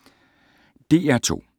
DR2